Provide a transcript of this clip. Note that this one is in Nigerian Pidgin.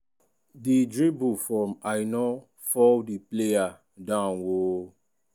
di driblle from aina fall di player down oooo.